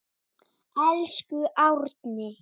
Elsku Árni.